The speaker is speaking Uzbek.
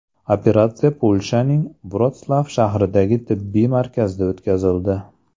Operatsiya Polshaning Vrotslav shahridagi tibbiy markazda o‘tkazildi.